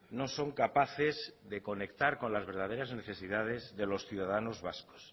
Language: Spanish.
no son capaces de conectar con las verdaderas necesidades de los ciudadanos vascos